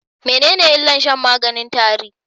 Menene illar shan maganin tare?